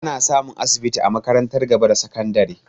Ana samun asibiti a makarantar gaba da sakandare